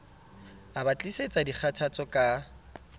a ba tlisetsa dikgathatso ka